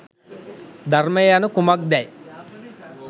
ධර්මය යනු කුමක්දැ